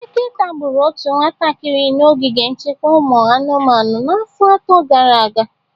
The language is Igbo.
Eke tagbụru otu nwatakịrị na ogige nchekwa ụmụ anụmanụ n'afọ atọ gara aga.